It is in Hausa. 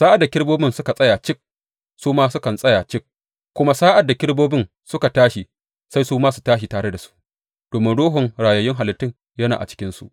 Sa’ad da kerubobin suka tsaya cik, su ma sukan tsaya cik; kuma sa’ad da kerubobin suka tashi, sai su ma su tashi tare da su, domin ruhun rayayyun halittun yana a cikinsu.